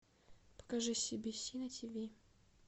покажи си би си на тиви